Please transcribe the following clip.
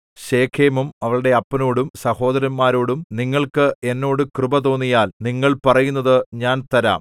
ശെഖേമും അവളുടെ അപ്പനോടും സഹോദരന്മാരോടും നിങ്ങൾക്ക് എന്നോട് കൃപ തോന്നിയാൽ നിങ്ങൾ പറയുന്നത് ഞാൻ തരാം